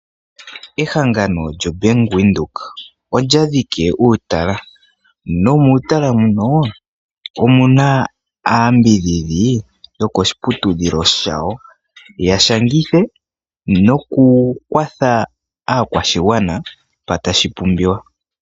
Ehangano lyombaanga yaVenduka oya dhiki uutala nomuutala muno omuna aayambidhidhi yokoshiputudhilo shawo yashangithe noku kwatha aakwashigwana mpa tashi pumbiwa.